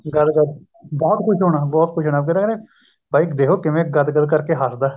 ਗਦ ਗਦ ਬਹੁਤ ਖ਼ੁਸ਼ ਹੋਣਾ ਬਹੁਤ ਖ਼ੁਸ਼ ਹੋਣਾ ਫੇਰ ਉਹ ਕਹਿੰਦੇ ਬਾਈ ਦੇਖੋ ਕਿਵੇਂ ਗਦ ਗਦ ਕਰਕੇ ਹੱsਦਾ